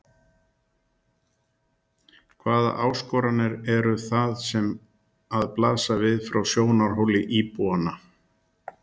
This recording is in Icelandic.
Elín: Hvaða áskoranir eru það sem að blasa við frá sjónarhóli íbúanna?